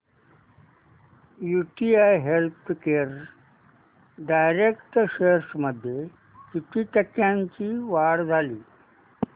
UTI healthcare direct shares मध्ये किती टक्क्यांची वाढ झाली